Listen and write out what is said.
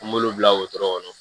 An b'olu bila wotoro kɔnɔ